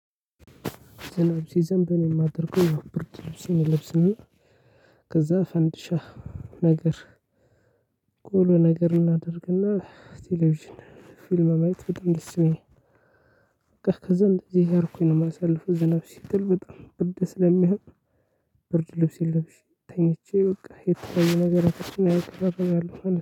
ዝናብ ሲዘንብን የማደርገው ብርድልብስ እለብስና ከዛ ፈንድሻ። ነገር ቆሎ ነገር እናደርግና ቴሌቪዥን ፊልም ማየት በጣም ደስ ይለኛል። ከዛ እንደዚህ ያርኩኝ ነው የማሳልፈው ዝናብ ሲጥል በጣም ብርድ ስለሚሆን። ብርድ ልብሴን ለብሼ ተኝቼ በቃ የተለያዬ ነገሮችን ማየት እፈልጋለሁ ማለት ነው